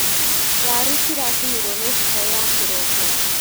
Waru ciracinirwo nĩ heho ya kĩroko.